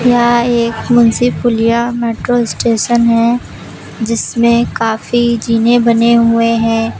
यह एक Munshi Puliya metro station है जिसमें काफी जीने बने हुए हैं।